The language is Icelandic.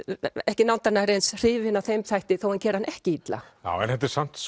ekki nándar nærri eins hrifin af þeim þætti þó hann geri hann ekki illa en þetta er samt